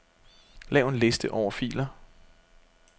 Lav en liste over filer.